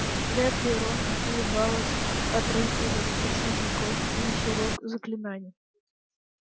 вряд ли рону улыбалось отрыгивать слизняков весь урок заклинаний